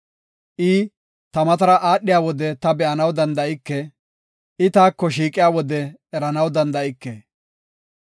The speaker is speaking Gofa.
I ta matara aadhiya wode ta be7anaw danda7ike; I taako shiiqiya wode eranaw danda7ike.